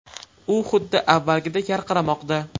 U xuddi avvalgidek yarqiramoqda”.